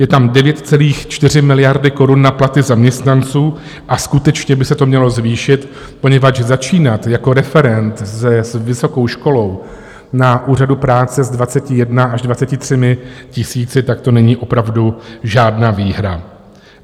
Je tam 9,4 miliardy korun na platy zaměstnanců a skutečně by se to mělo zvýšit, poněvadž začínat jako referent s vysokou školou na úřadu práce s 21 až 23 tisíci, tak to není opravdu žádná výhra.